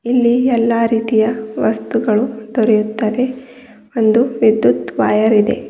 ಇಲ್ಲಿ ಎಲ್ಲಾ ರೀತಿಯ ವಸ್ತುಗಳು ದೊರೆಯುತ್ತದೆ ಒಂದು ವಿದ್ಯುತ್ ವೈಯರಿದೆ.